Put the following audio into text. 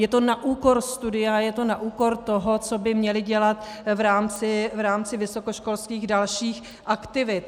Je to na úkor studia, je to na úkor toho, co by měli dělat v rámci vysokoškolských dalších aktivit.